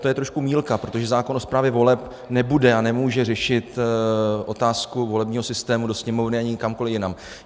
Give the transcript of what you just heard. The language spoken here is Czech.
To je trošku mýlka, protože zákon o správě voleb nebude a nemůže řešit otázku volebního systému do Sněmovny ani kamkoli jinam.